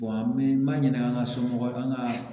an bɛ maɲinin an ka somɔgɔw an ka